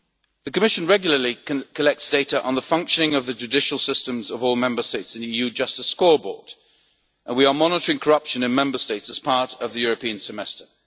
The Commission regularly collects data on the functioning of the judicial systems of all Member States in the EU Justice Scoreboard, and we are monitoring corruption in Member States as part of the European Semester.